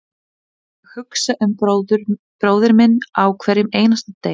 Ég hugsa um bróðir minn á hverjum einasta degi.